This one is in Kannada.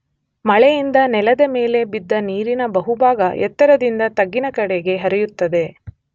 ಮಳೆಯಿಂದ ನೆಲದ ಮೇಲೆ ಬಿದ್ದ ನೀರಿನ ಬಹುಭಾಗ ಎತ್ತರದಿಂದ ತಗ್ಗಿನ ಕಡೆಗೆ ಹರಿಯುತ್ತದೆ.